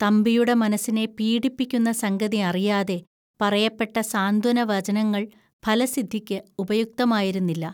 തമ്പിയുടെ മനസ്സിനെ പീഡിപ്പിക്കുന്ന സംഗതി അറിയാതെ പറയപ്പെട്ട സാന്ത്വന വചനങ്ങൾ ഫലസിദ്ധിക്ക് ഉപയുക്തമായിരുന്നില്ല